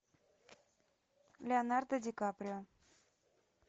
леонардо ди каприо